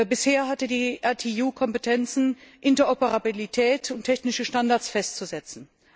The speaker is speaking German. Bisher hatte die ITU Kompetenzen, Interoperabilität und technische Standards festzusetzen.